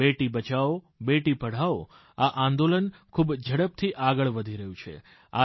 બેટી બચાવોબેટી પઢાઓ આ આંદોલન ખૂબ ઝડપથી આગળ વધી રહ્યું છે